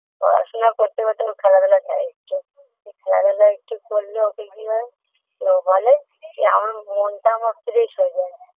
পড়াশোনা করতে করতে ওর খেলাধুলা চাই একটু খেলাধুলা একটু করলে ওতে কি হয় ও বলে আমার মনটা fresh হয়ে যায়